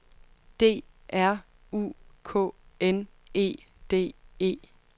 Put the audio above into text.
D R U K N E D E